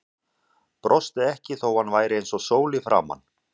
Brosti ekki þó að hann væri eins og sól í framan.